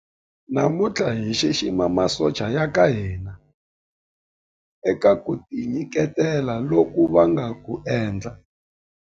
Namuntlha hi xixima masocha ya ka hina eka ku tinyiketela loku va nga ku endla.